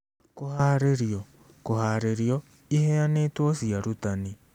Kũhaarĩrio (kũhaarĩrio, iheanĩtwo cia arutani)